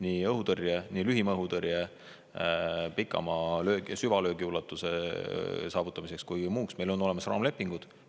Nii õhutõrje, lühimaa-õhutõrje, pikamaa, süvalöögi ulatuse saavutamiseks kui ka muuks meil on olemas raamlepingud.